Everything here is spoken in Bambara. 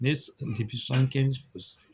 Ne